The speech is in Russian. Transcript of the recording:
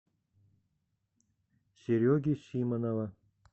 сереги симонова